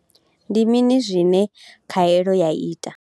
Ndi mini zwine khaelo ya ita?